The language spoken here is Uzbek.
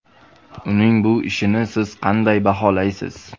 Uning bu ishini siz qanday baholaysiz?